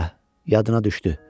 Hə, yadına düşdü.